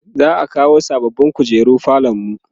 za'a kawo sababbin kujeru falonmu